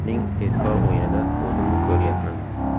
Uning tezkor o‘yinida o‘zimni ko‘ryapman.